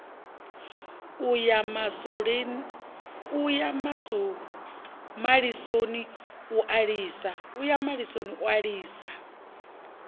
a ya malisoni u lisa